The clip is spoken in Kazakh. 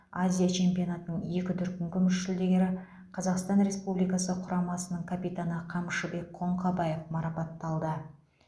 азия чемпионатының екі дүркін күміс жүлдегері қазақстан республикасы құрамасының капитаны қамшыбек қоңқабаев марапатталды